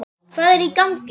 Hvað er í gangi?